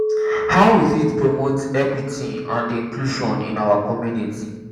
how we fit promote equity and inclusion in our community?